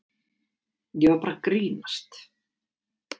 Ég var bara að grínast.